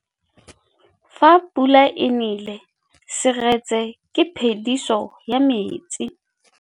Fa pula e nelê serêtsê ke phêdisô ya metsi.